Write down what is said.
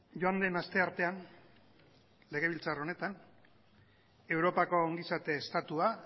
joan den asteartean legebiltzar honetan europako ongizate estatua